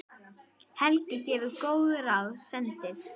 Helgi gefur góð ráð, sendir